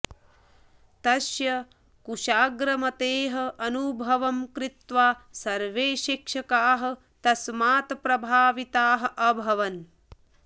तस्य कुशाग्रमतेः अनुभवं कृत्वा सर्वे शिक्षकाः तस्मात् प्रभाविताः अभवन्